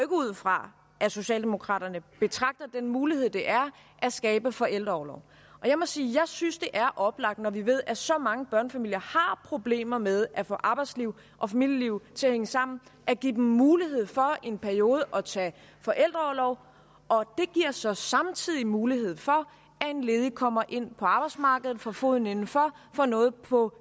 ud fra at socialdemokraterne betragter den mulighed det er at skabe forældreorlov jeg må sige at jeg synes det er oplagt når vi ved at så mange børnefamilier har problemer med at få arbejdsliv og familieliv til at hænge sammen at give dem mulighed for i en periode at tage forældreorlov og det giver så samtidig mulighed for at en ledig kommer ind på arbejdsmarkedet får foden indenfor får noget på